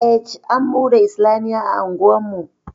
Ej an buɗe islamiyya a unguwarmu